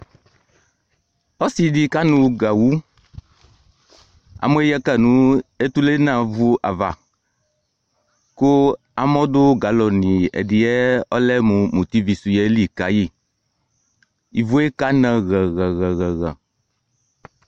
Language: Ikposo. Ɔsɩɖɩ ƙanʋ gawʋ, amɔɛ ƴǝ ka nʋ etulenavuavaƘʋ amɔ ɖʋ galɔnɩ ɛɖɩɛ lɛmʋ mutivisʋ ƴɛli ƙayɩIvuekana hǝhǝhǝ